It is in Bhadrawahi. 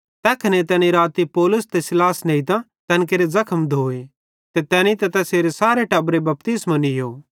तैखने तैने राती पौलुस ते सीलास नेइतां तैन केरे ज़खम धोए ते तैनी तैसेरे सारे टब्बरे बपतिस्मो नीयो